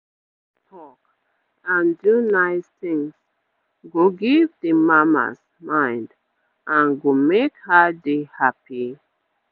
make dem dey talk and do nice things go give d mamas mind and go make her dey happy